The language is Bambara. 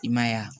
I ma ye wa